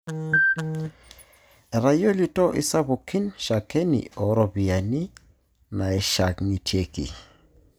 Etayiolito isapukin shakeni ooropiyiani naishang'itieki.